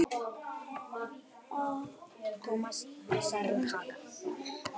Tómasarhaga